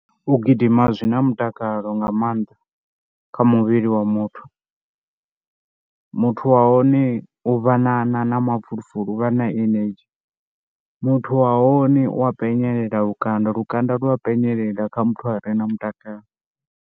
U gidima zwi na mutakalo nga maanḓa kha muvhili wa muthu, muthu wa hone u vha na na na mafulufulu, u vha na energy. Muthu wa hone u a penyelela lukanda, lukanda lwa penyelela kha muthu a re na mutakalo.